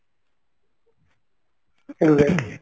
exactly